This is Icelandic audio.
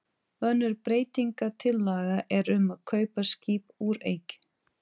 Önnur breytingatillaga er um að kaupa skip úr eik.